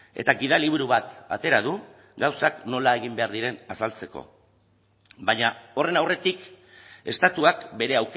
eta gidaliburu bat atera du gauzak nola egin behar diren azaltzeko baina horren aurretik estatuak bere